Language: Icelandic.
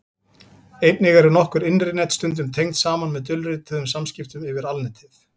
einnig eru nokkur innri net stundum tengd saman með dulrituðum samskiptum yfir alnetið